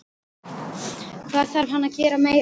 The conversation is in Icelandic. Hvað þarf hann að gera meira?